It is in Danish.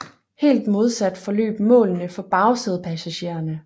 Helt modsat forløb målene for bagsædepassagererne